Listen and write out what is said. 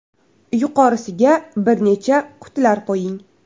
Yuqorisiga bir necha qutilar qo‘ying.